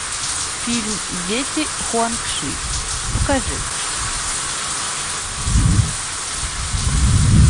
фильм дети хуанг ши покажи